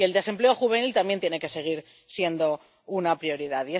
Y el desempleo juvenil también tiene que seguir siendo una prioridad.